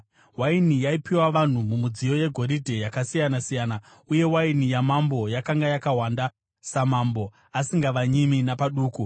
Waini yaipiwa vanhu mumidziyo yegoridhe, yakasiyana-siyana, uye waini yamambo yakanga yakawanda, samambo, asingavanyimi napaduku.